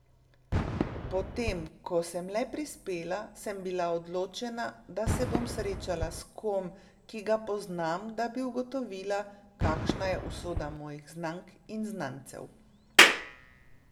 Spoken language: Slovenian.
Potem ko sem le prispela, sem bila odločena, da se bom srečala s kom, ki ga poznam, da bi ugotovila, kakšna je usoda mojih znank in znancev.